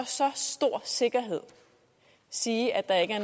så stor sikkerhed sige at